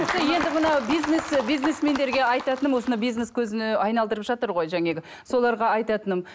енді мынау бизнес бизнесмендерге айтатыным осыны бизнес көзіне айналдырып жатыр ғой жаңағы соларға айтатыным